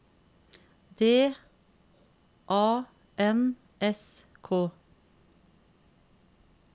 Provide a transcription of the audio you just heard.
D A N S K